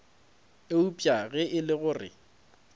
eupša ge e le gore